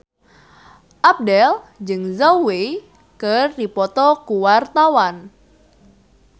Abdel jeung Zhao Wei keur dipoto ku wartawan